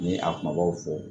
Ni a kumabaw fɔ